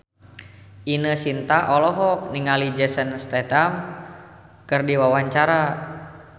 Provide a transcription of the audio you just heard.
Ine Shintya olohok ningali Jason Statham keur diwawancara